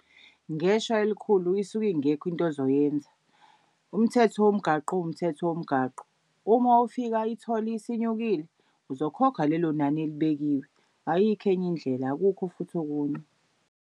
Ngeshwa elikhulu isuke ingekho into ozoyenza. Umthetho womgwaqo uwumthetho womgwaqo, uma ufika itholi isinyukile uzokhokha lelo nani elibekiwe. Ayikho enye indlela akukho futhi okunye.